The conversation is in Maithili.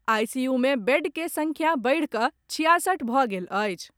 आईसीयू मे बेड के संख्या बढ़िकऽ छियासठ भऽ गेल अछि।